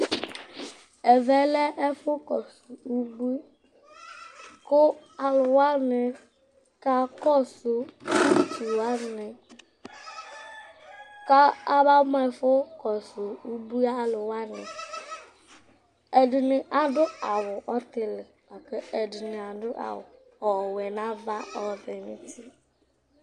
Ɛvɛ lɛ ɛfʋkɔsʋ ubui kʋ alʋ wanɩ kakɔsʋ utu wanɩ kʋ kabamʋ ɛfʋ kɔsʋ ubui alʋ wanɩ Ɛdɩnɩ adʋ awʋ ɔtɩlɩ la kʋ ɛdɩnɩ adʋ awʋ ɔwɛ nʋ ava ɔvɛ nʋ uti